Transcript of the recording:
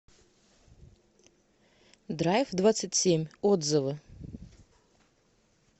драйвдвадцатьсемь отзывы